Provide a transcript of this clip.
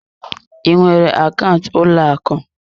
Ị nwere akaụntụ ụlọ akụ?